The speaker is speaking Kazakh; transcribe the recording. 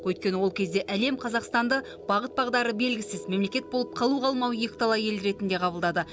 өйткені ол кезде әлем қазақстанды бағыт бағдары белгісіз мемлекет болып қалу қалмауы екіталай ел ретінде қабылдады